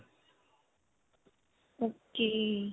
ok.